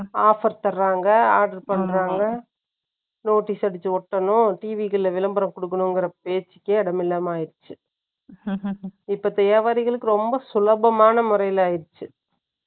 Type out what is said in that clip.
Offer தர்றாங்க, order பண்றாங்க. Notice அடிச்சு ஓட்டணும். TV கள்ல விளம்பரம் கொடுக்கணுங்கிற பேச்சுக்கே, இடம் இல்லாம ஆயிடுச்சு. இப்ப வியாபாரிகளுக்கு, ரொம்ப சுலபமான முறையில ஆயிடுச்சு